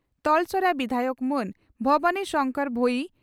ᱛᱚᱞᱥᱚᱨᱟ ᱵᱤᱫᱷᱟᱭᱚᱠ ᱢᱟᱹᱱ ᱵᱷᱚᱵᱟᱱᱤ ᱥᱚᱝᱠᱚᱨ ᱵᱷᱚᱭᱤ